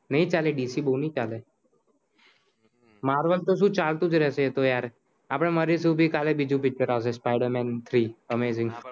નહિ ચાલે dc બોવ નહિ ચાલે મારવેલ તો સુ ચાલતું જ રહસે એતો યાર આપદે મરીસું બી કાલે બીજી picture આવસે Spider-Man three amazing